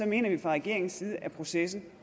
mener vi fra regeringens side at processen